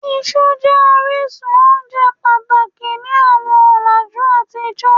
iṣu jẹ orisun ounje pataki ni awọn ọlaju atijọ